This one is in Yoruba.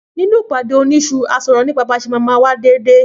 Nínú ìpàdé òní isu r